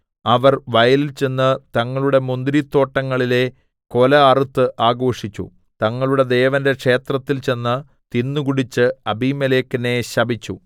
അവർ വയലിൽ ചെന്ന് തങ്ങളുടെ മുന്തിരിത്തോട്ടങ്ങളിലെ കൊല അറുത്ത് ആഘോഷിച്ചു തങ്ങളുടെ ദേവന്റെ ക്ഷേത്രത്തിൽ ചെന്ന് തിന്നുകുടിച്ച് അബീമേലെക്കിനെ ശപിച്ചു